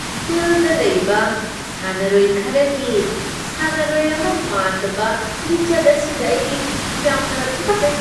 ꯐꯤꯜꯗ ꯂꯩꯕ ꯁꯥꯟꯅꯔꯣꯏ ꯈꯔꯒꯤ ꯁꯥꯟꯅꯔꯣꯏ ꯑꯃ ꯃꯥꯟꯗꯕ ꯂꯤꯆꯠ ꯑꯁꯤꯗ ꯑꯩ ꯌꯥꯝꯅ ꯇꯨꯀꯠꯆꯩ꯫